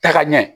Taka ɲɛ